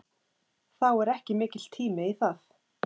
Þá er ekki mikill tími í það.